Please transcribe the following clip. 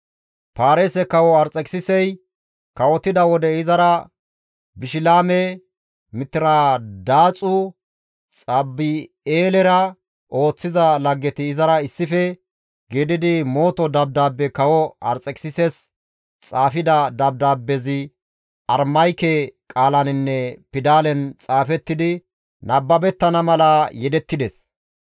Paarise kawo Arxekisisi kawotida wode izara Bishilaame, Mitiradaaxu, Xaabi7eelera ooththiza laggeti izara issife gididi mooto dabdaabbe kawo Arxekisises xaafida dabdaabbezi Aramayke qaalaninne pidalen xaafettidi nababettana mala yedettides.